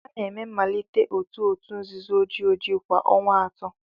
A na-eme mmalite otu òtù nzuzo ojii ojii kwa ọnwa atọ.